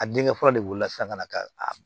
A denkɛ fɔlɔ de wolola sisan ka na ka